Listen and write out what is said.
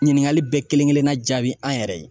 Ɲininkali bɛɛ kelen kelenna jaabi an yɛrɛ ye.